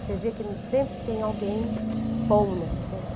Você vê que sempre tem alguém bom nessa cena.